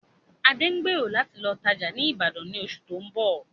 Adé ń gbèrò láti lọ tajá ni Ibadan ni oṣù tóun bọ̀